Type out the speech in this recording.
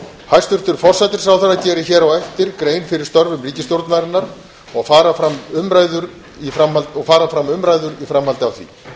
hæstvirtur forsætisráðherra gerir hér á eftir grein fyrir störfum ríkisstjórnarinnar og fara fram umræður í framhaldi af því